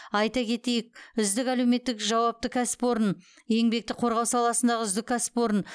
айта кетейік үздік әлеуметтік жауапты кәсіпорын еңбекті қорғау саласындағы үздік кәсіпорын